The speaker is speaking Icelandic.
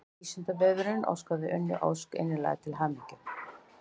Vísindavefurinn óskar Unni Ósk innilega til hamingju.